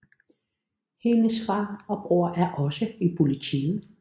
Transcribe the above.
Hendes far og bror er også i politiet